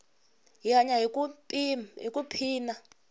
hi hanya ku i phina